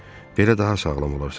Belə daha sağlam olarsan.